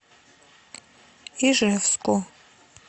ижевску